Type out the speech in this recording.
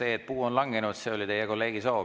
See, et puu on langenud, oli teie kolleegi soov.